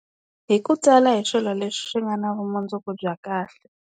Hi ku tsala hi swilo leswi swi nga na vumundzuku bya kahle.